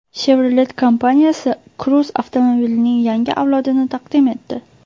Chevrolet kompaniyasi Cruze avtomobilining yangi avlodini taqdim etdi.